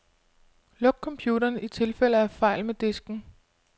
Luk computeren i tilfælde af fejl med disken.